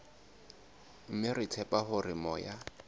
mme re tshepa hore moya